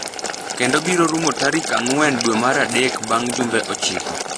kendo biro rumo tarikang'wen dwe mar adek bang’ jumbe ochiko.